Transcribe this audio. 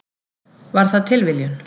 Var það tilviljun?